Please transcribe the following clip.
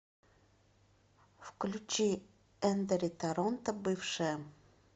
включи эндери торонто бывшая